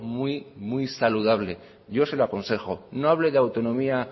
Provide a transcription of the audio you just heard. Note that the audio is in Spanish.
muy muy saludable yo se lo aconsejo no hable de autonomía